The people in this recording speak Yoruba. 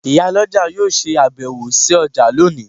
Iyaloja yóò se abewo si oja loni